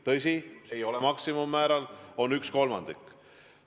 Tõsi, see ei ole maksimummäär, vaid on sellest 1/3.